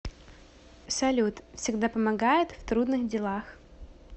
салют всегда помогает в трудных делах